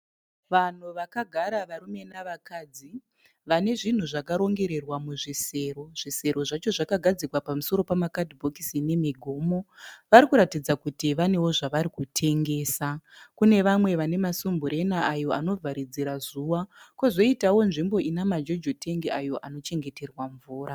Vanhu vakagara varume nevakadzi vane zvinhu zvakarongererwa muzvisero. Zvisero zvacho zvakagadzikwa pamusoro pemakadhibhokisi nemigomo. Varikuratidza kuti vanewo zvavarikutengesa. Kune vamwe vane masumburena ayo anovharidzira zuva. Pozoitawo nzvimbo ine majojo tengi ayo anochengeterwa mvura.